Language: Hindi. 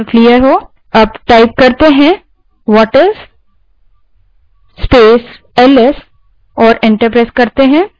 अब whatis space ls type करें और enter दबायें